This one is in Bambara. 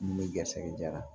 Mun bɛ garisigɛ diyara